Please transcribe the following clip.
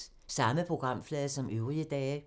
Samme programflade som øvrige dage